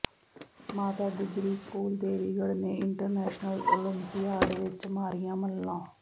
ਮਾਤਾ ਗੁਜਰੀ ਸਕੂਲ ਦੇਵੀਗੜ੍ਹ ਨੇ international olympiad ਵਿਚ ਮਾਰੀਆਂ ਮੱਲਾਂ